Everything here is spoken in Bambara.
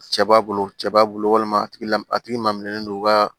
Cɛ b'a bolo cɛ b'a bolo walima a tigi la a tigi laminilen don u ka